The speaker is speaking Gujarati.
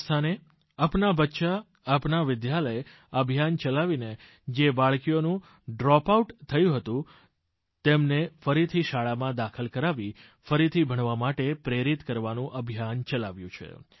રાજસ્થાને અપના બચ્ચા અપના વિદ્યાલય અભિયાન ચલાવીને જે બાળકીઓનું ડ્રોપ આઉટ થયું હતું તેમને ફરીથી શાળામાં દાખલ કરાવી ફરીથી ભણવા માટે પ્રેરિત કરવાનું અભિયાન ચલાવ્યું છે